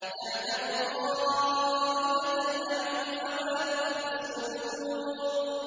يَعْلَمُ خَائِنَةَ الْأَعْيُنِ وَمَا تُخْفِي الصُّدُورُ